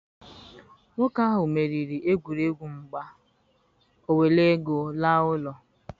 nwoke ahu meriri egwuregwu mgba, o were ego laa ulo.